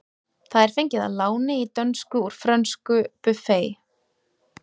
Það er fengið að láni í dönsku úr frönsku buffet.